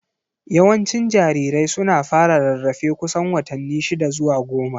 Yawancin jarirai suna fara rarrafe kusan watanni shida zuwa goma.